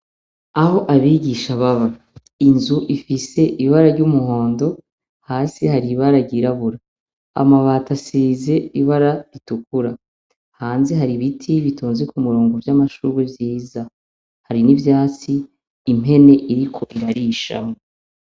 Aho abigisha baba inzu ifise ibara ry'umuhondo ,hasi hari ibara ryirabura ,amabati asize ibara ritukura. Hanze hari ibiti bitonze ku murongo vy'amashurwe vyiza ,hari n'ivyatsi impene iriko irarisha.